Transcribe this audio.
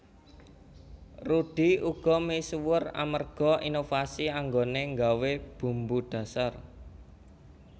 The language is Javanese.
Rudy uga misuwur amerga inovasi anggoné nggawé bumbu dhasar